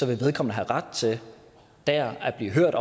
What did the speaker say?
vedkommende have ret til der at blive hørt